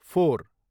four